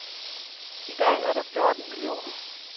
I dag er der fjorten millioner.